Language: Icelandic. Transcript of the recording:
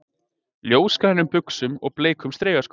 Ljósgrænum buxum og bleikum strigaskóm